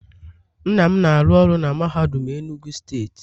Nna m na-aru oru na mahadum enugu state